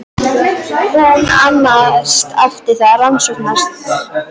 Hún annaðist eftir það rannsóknastarfsemina, en Jarðboranir ríkisins boranirnar.